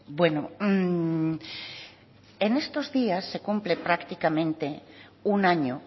bueno en estos días se cumple prácticamente un año